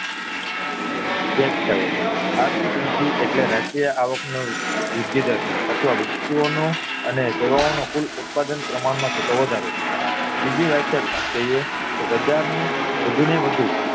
વ્યાખ્યાઓ આથી વૃદ્ધિ એટલે રાષ્ટ્રીય આવક નો વૃદ્ધિ દર અથવા વસ્તુઓ નો અને સેવાઓ નો કુલ ઉત્પાદન માં થતો વધારો બીજી વ્યાખ્યા કહીએ તો પ્રજા ને વધુ ને વધુ